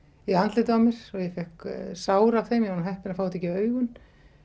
í andlitið á mér og ég fékk sár af þeim ég var nú heppin að fá þetta ekki í augun